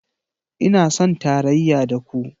Ina son tarayya da ku